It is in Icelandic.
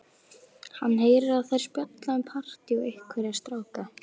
Hann heyrir að þær spjalla um partí og einhverja stráka.